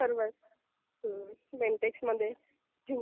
सर्वच. बेंटेक्समध्ये...